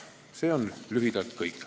See on lühidalt kõik.